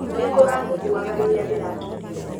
Nĩ kũrathuthuaga rĩrĩa ndĩrakinyire